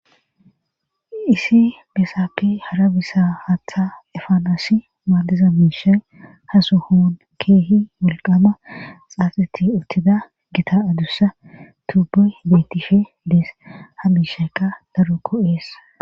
isi besape hara besa hatha efanasi maadiza miisha ha sohoun keehi woiqama xaaxati uttida gita adussa tuuboy betishe dees ha miishaykka daro go'ees